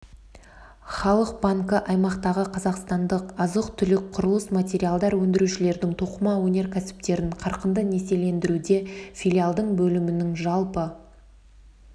халық банкі аймақтағы қазақстандық азық-түлік құрылыс материалдар өндірушілердің тоқыма өнеркәсіптерін қарқынды несиелендіруде филиалдың бөлімінің жалпы